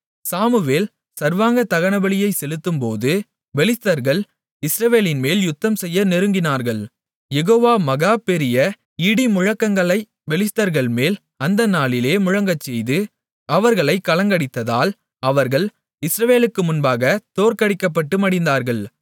Samuel சர்வாங்க தகனபலியைச் செலுத்தும்போது பெலிஸ்தர்கள் இஸ்ரவேலின்மேல் யுத்தம்செய்ய நெருங்கினார்கள் யெகோவா மகா பெரிய இடிமுழக்கங்களைப் பெலிஸ்தர்கள்மேல் அந்த நாளிலே முழங்கச்செய்து அவர்களைக் கலங்கடித்ததால் அவர்கள் இஸ்ரவேலுக்கு முன்பாக தோற்கடிக்கப்பட்டு மடிந்தார்கள்